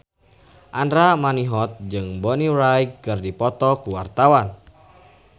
Andra Manihot jeung Bonnie Wright keur dipoto ku wartawan